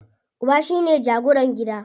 Uba shine jagoran gida.